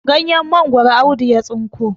ganyen mangoro Audu ya tsinko